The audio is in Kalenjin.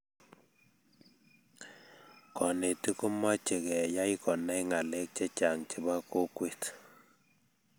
konetik komeche keyay konai ngalek chechang chebo kokwet